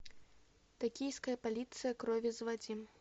токийская полиция крови заводи